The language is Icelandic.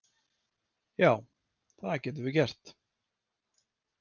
Já, það getum við gert.